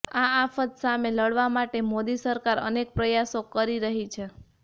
આ આફત સામે લડવા માટે મોદી સરકાર અનેક પ્રયાસો કરી રહી છે